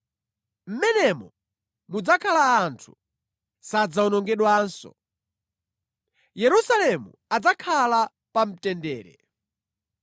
Mʼmenemo mudzakhala anthu; sadzawonongedwanso. Yerusalemu adzakhala pa mtendere.